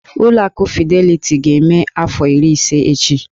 Ụlọ akụ Fideliti ga-eme afọ iri ise echi.